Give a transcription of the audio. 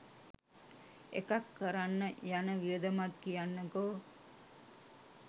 එකක් කරන්න යන වියදමත් කියන්නකෝ